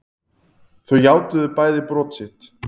Þau játuðu bæði brot sitt